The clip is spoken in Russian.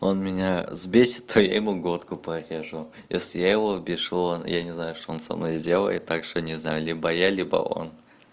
он меня взбесит то я ему глотку порежу если я его взбешу он я не знаю что он со мной сделает так что не знаю либо я либо он